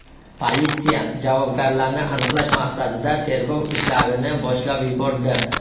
Politsiya javobgarlarni aniqlash maqsadida tergov ishlarini boshlab yubordi.